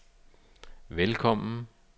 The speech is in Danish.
velkommen